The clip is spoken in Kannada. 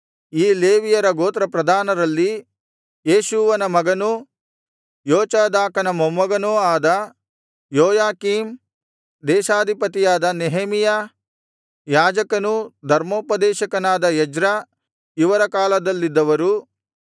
ಈ ಲೇವಿಯರ ಗೋತ್ರಪ್ರಧಾನರಲ್ಲಿ ಯೇಷೂವನ ಮಗನೂ ಯೋಚಾದಾಕನ ಮೊಮ್ಮಗನೂ ಅದ ಯೋಯಾಕೀಮ್ ದೇಶಾಧಿಪತಿಯಾದ ನೆಹೆಮೀಯ ಯಾಜಕನೂ ಧರ್ಮೋಪದೇಶಕನಾದ ಎಜ್ರ ಇವರ ಕಾಲದಲ್ಲಿದ್ದವರು